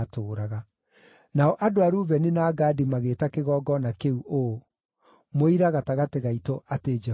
Nao andũ a Rubeni na Gadi magĩĩta kĩgongona kĩu ũũ: Mũira Gatagatĩ Gaitũ atĩ Jehova nĩwe Ngai.